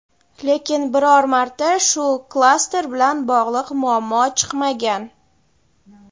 lekin biror marta shu klaster bilan bog‘liq muammo chiqmagan.